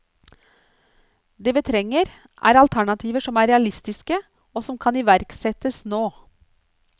Det vi trenger, er alternativer som er realistiske, og som kan iverksettes nå.